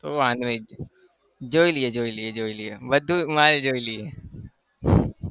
વાંધો નહિ જોઈ લઈએ જોઈ લઈએ જોઈ લઈએ બધું માલ જોઈ લઈએ